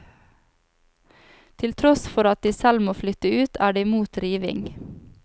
Til tross for at de selv må flytte ut, er de mot riving.